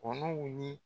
Kɔnɔw ni